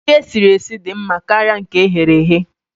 Nri e siri esi dị mma karịa nke eghere eghe